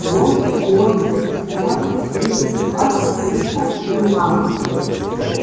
и вот сегодня предстояло в третий раз встретиться с генералом